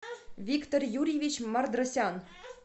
виктор юрьевич мардросян